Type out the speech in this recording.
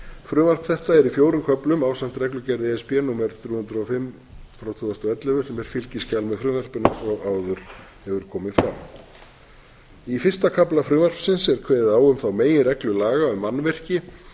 frumvarp þetta er í fjórum köflum ásamt reglugerð e s b númer þrjú hundruð og fimm tvö þúsund og ellefu sem er fylgiskjal með frumvarpinu eins og áður hefur komið fram í fyrsta kafla frumvarpsins er kveðið á um þá meginreglu laga um mannvirki að